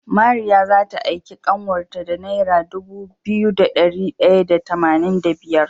Mariya zata aiki kanwar ta da naira Dubu biyu da dari daya da tamanin da biyar